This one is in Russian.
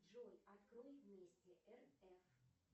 джой открой вместе рф